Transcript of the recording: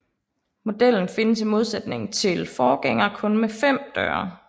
Modellen findes i modsætning til forgængerne kun med fem døre